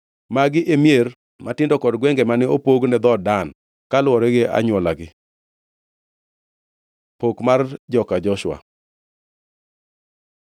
Magi e mier matindo kod gwenge mane opog ne dhood Dan, kaluwore gi anywolagi. Pok mar joka Joshua